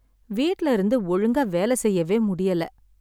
வீட்ல இருந்து ஒழுங்கா வேலை செய்யவே முடியல